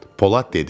Polad dedi: